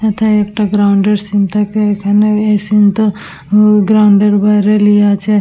এটা একটা গ্রাউন্ড -এর সিন থাকে এখানে এই সিন -টা উ গ্রাউন্ড -এর বাইরে লিয়ে আছে।